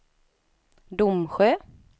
Domsjö